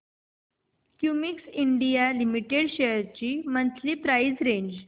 Cummins India limited shares ची monthly price range